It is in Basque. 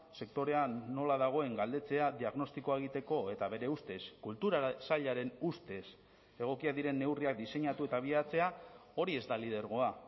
sektorean nola dagoen galdetzea diagnostikoa egiteko eta bere ustez kultura sailaren ustez egokiak diren neurriak diseinatu eta abiatzea hori ez da lidergoa